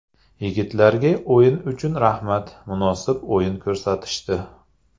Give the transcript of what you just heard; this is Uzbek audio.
Yigitlarga o‘yin uchun rahmat, munosib o‘yin ko‘rsatishdi.